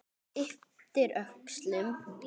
Ypptir öxlum.